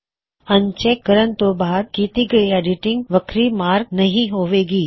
uncheck ਕਰਨਨਤੋਂ ਬਾਅਦ ਕੀਤੀ ਹੋਈ ਐੱਡਿਟਿੰਗ ਵੱਖਰੀ ਮਾਰਕ ਨਹੀ ਹੋਵੇ ਗੀ